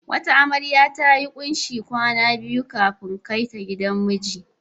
Wata amarya ta yi kunshi a hannunta kwana biyu kafin kai ta gidan miji.